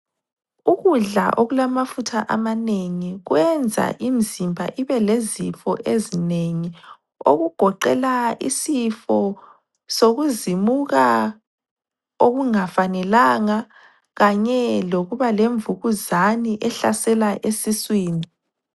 Ukudla okulamafutha amanengi kwenza imizimba ibelezifo ezinengi okugoqela isifo sokuzimuka okungafanelanga kanye lokuba lemvukuzane ehlasela esiswini.